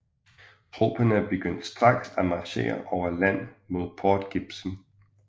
Tropperne begyndte straks at marchere over land mod Port Gibson